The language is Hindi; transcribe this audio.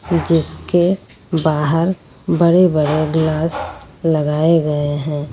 गेट के बाहर बड़े-बड़े ग्लास लगाए गए हैं।